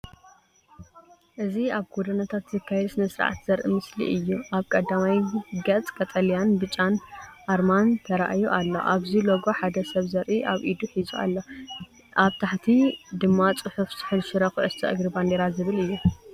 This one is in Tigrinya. እዚ ኣብ ጎደናታት ዝካየድ ስነ-ስርዓት ዘርኢ ምስሊ እዩ። ኣብ ቀዳማይ ገጽ ቀጠልያን ብጫን ኣርማ ተራእዩ ኣሎ። ኣብዚ ሎጎ ሓደ ሰብ ዘርኢ ኣብ ኢዱ ሒዙ ኣሎ፡።ኣብ ታሕቲ ድማ ጽሑፍ "ስሑል ሽረ ኮዕሶ እግሪ ባንዴራ" ዝብል እዩ።